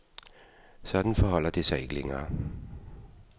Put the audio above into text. Sådan forholder det sig ikke længere.